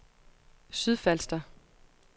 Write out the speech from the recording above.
Sydfalster